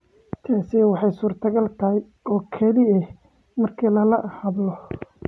Taasi waxay suurtogal tahay oo keliya marka lala hadlo.